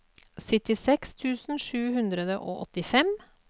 syttiseks tusen sju hundre og åttifem